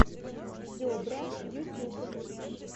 зебра ютюб